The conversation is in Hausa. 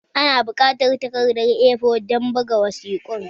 Ina buƙatar takardar A4 don buga wasiƙun